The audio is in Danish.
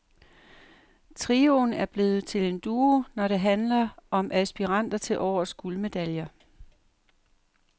Trioen er blevet til en duo, når det handler om aspiranter til årets guldmedaljer.